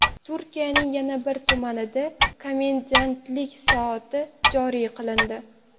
Turkiyaning yana bir tumanida komendantlik soati joriy qilindi.